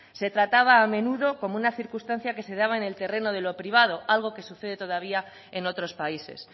se trataba a menudo como una circunstancia que se daba en el terreno de lo privado algo que sucede todavía en otros países